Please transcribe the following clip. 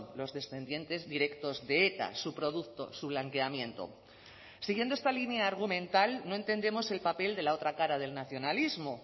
los descendientes directos de eta su producto su blanqueamiento siguiendo esta línea argumental no entendemos el papel de la otra cara del nacionalismo